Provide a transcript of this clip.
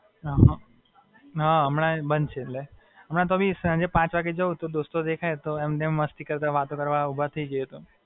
હાં, હમણાં એ બંધ છે એટલે, હમણાં તો બી સાંજે પાંચ વાગે જાઉ તો દોસ્તો દેખાય તો એમ-તેમ મસ્તી કરતાં વાતો કરવા ઊભા રઇ જઈએ તો.